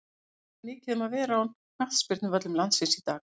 Ekki er mikið um að vera á knattspyrnuvöllum landsins í dag.